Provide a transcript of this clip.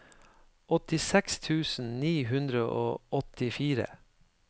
åttiseks tusen ni hundre og åttifire